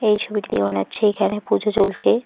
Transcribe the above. এই ছবিতে মনে হচ্ছে এখানে পুজো চলছে।